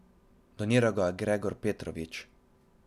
Doniral ga je Gregor Petrovčič.